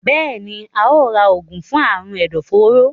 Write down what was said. Béèni óò rà oògùn fún Àrùn ẹdọforó.